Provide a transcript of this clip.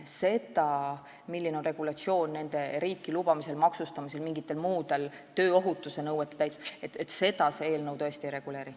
Seda, milline on regulatsioon kellegi riiki lubamisel, maksustamisel või mingite muude nõuete, näiteks tööohutusnõuete täitmisel, see eelnõu tõesti ei reguleeri.